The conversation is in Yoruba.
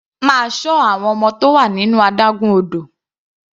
Máa ṣọ àwọn ọmọ tó wà nínú adágún odò.